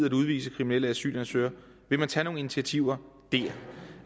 at udvise kriminelle asylansøgere vil man tage nogle initiativer